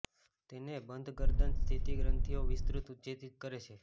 તેને બંધ ગરદન સ્થિત ગ્રંથીઓ વિસ્તૃત ઉત્તેજિત કરે છે